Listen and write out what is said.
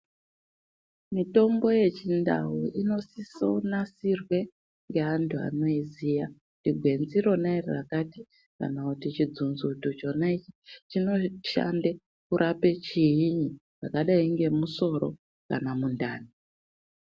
Mitombo yechindau inosise kunasirwe ngeantu anoiziya kuti gwenzi rona iro rakati kana kuti chidzunzuti chona ichi chinoshande kurape chiini chakadai ngemusoro kana mundani.